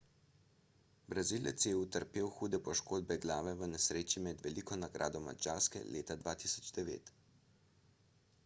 brazilec je utrpel hude poškodbe glave v nesreči med veliko nagrado madžarske leta 2009